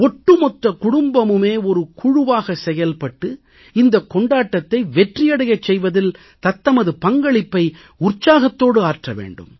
ஒட்டுமொத்த குடும்பமுமே ஒரு குழுவாக செயல்பட்டு இந்தக் கொண்டாட்டத்தை வெற்றியடைச் செய்வதில் தத்தமது பங்களிப்பை உற்சாகத்தோடு ஆற்ற வேண்டும்